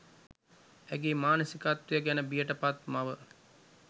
ඇගේ මානසිකත්වය ගැන බියට පත් මව